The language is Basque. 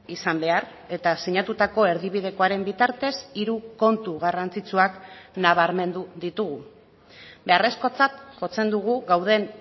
izan behar eta sinatutako erdibidekoaren bitartez hiru kontu garrantzitsuak nabarmendu ditugu beharrezkotzat jotzen dugu gauden